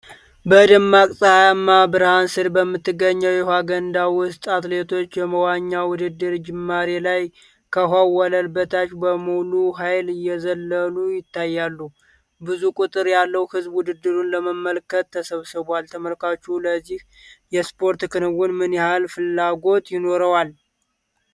በደማቅ ፀሐይ ብርሃን ስር በምትገኝ የውኃ ገንዳ ውስጥ አትሌቶች የመዋኛ ውድድር ጅማሬ ላይ ከውኃው ወለል በታች በሙሉ ኃይል እየዘለሉ ይታያሉ፤ ብዙ ቁጥር ያለው ሕዝብ ውድድሩን ለመመልከት ተሰብስቧል። ተመልካቾቹ ለዚህ የስፖርት ክንውን ምን ያህል ፍላጎት ይኖራቸዋል?